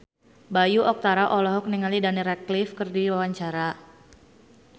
Bayu Octara olohok ningali Daniel Radcliffe keur diwawancara